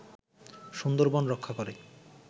সুন্দরবন রক্ষা করে